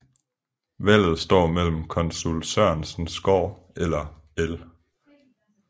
Valget står mellem Konsul Sørensens Gård eller L